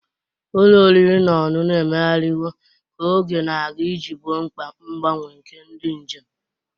Ụlọ oriri na ọṅụṅụ emegharịwo ka oge na-aga iji gboo mkpa mgbanwe nke ndị njem.